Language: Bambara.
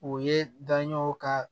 O ye daɲɛw ka